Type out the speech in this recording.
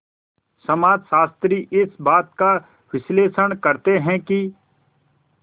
समाजशास्त्री इस बात का विश्लेषण करते हैं कि